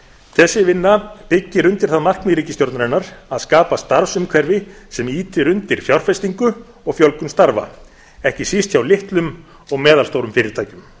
þessi vinna byggir undir það markmið ríkisstjórnarinnar að skapa starfsumhverfi sem ýtir undir fjárfestingu og fjölgun starfa ekki síst hjá litlum og meðalstórum fyrirtækjum